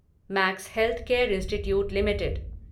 max healthcare institute limited